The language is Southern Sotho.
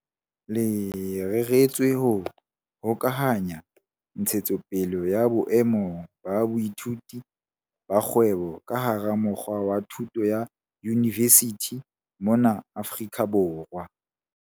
Le reretswe ho hokahanya ntshetsopele ya boemo ba boithuti ba kgwebo ka hara mokga wa thuto ya yunivesithi mona Afrika Borwa.